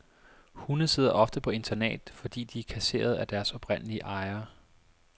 Hunde sidder ofte på internat, fordi de er kasseret af deres oprindelige ejere.